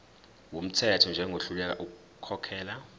wumthetho njengohluleka ukukhokhela